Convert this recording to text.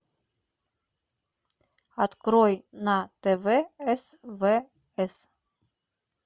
открой на тв свс